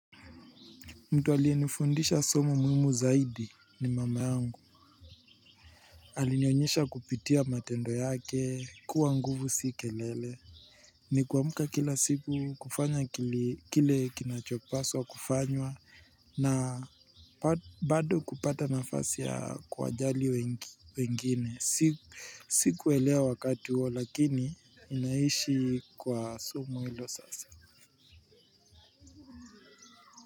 Mtu aliyenifundisha somo muhimu zaidi ni mama yangu. Alinionyesha kupitia matendo yake kuwa nguvu si kelele. Nikuamka kila siku kufanya kile kinachopaswa kufanywa na bado kupata nafasi ya kuwajali wengine sikuelewa wakati huo lakini ninaishi kwa somo hilo sasa.